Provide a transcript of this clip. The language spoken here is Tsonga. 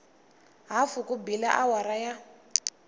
hafu ku bile awara ya